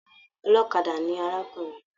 Ọlọ́kadà ni arákùnrin náà.